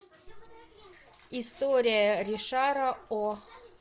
история ришара о